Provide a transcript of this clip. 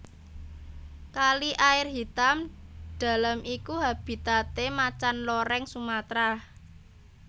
Kali Air Hitam Dalam iku habitate Macan Loreng Sumatra